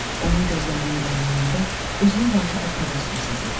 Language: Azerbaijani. Onun gözlərinin dərinliyində özümə qarşı bir təbəssüm sezirdim.